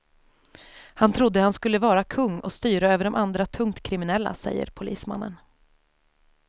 Han trodde han skulle vara kung och styra över de andra tungt kriminella, säger polismannen.